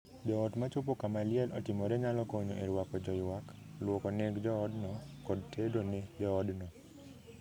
Joot ma chopo kama liel otimore nyalo konyo e ruako joyuak, luoko neng joodno, kod tedo ne joodno.